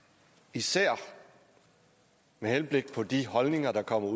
især med henblik på de holdninger der kommer